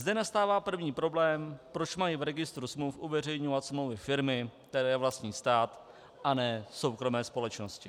Zde nastává první problém - proč mají v registru smluv uveřejňovat smlouvy firmy, které vlastní stát, a ne soukromé společnosti.